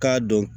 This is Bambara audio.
K'a dɔn